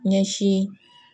Ɲɛsin